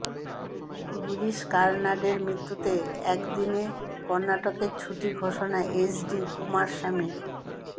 গিরিশ কারনাডের মৃত্যুতে একদিনে কর্ণাটকে ছুটি ঘোষণা এইচ ডি কুমারস্বামীর